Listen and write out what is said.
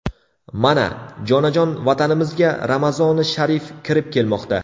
Mana, jonajon Vatanimizga Ramazoni sharif kirib kelmoqda.